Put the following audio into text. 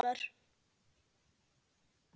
Amma í Borgó.